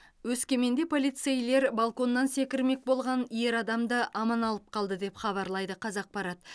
өскеменде полицейлер балконнан секірмек болған ер адамды аман алып қалды деп хабарлайды қазақпарат